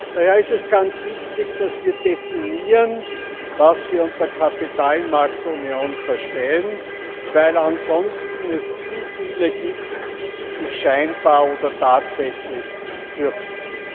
Daher ist es ganz wichtig, dass wir definieren, was wir unter Kapitalmarktunion verstehen, weil es ansonsten zu viele gibt, die sich scheinbar oder tatsächlich fürchten.